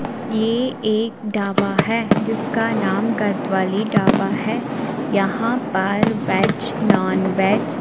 ये एक ढाबा है जिसका नाम गतवाली ढाबा है यहाँ पार वेज नॉनवेज --